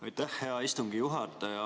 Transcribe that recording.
Aitäh, hea istungi juhataja!